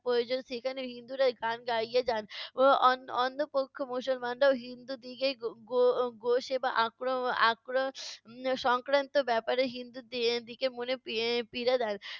প্রয়োজন, সেখানে হিন্দুরা গান গাইয়ে যান। অ~ অন~ অন্য পক্ষ মুসলমানরাও হিন্দুদিগের গো গো গো-সেবা আক্র আক্র উম সংক্রান্ত ব্যাপারে হিন্দুদিগের মনে পী~ পীড়া দেন।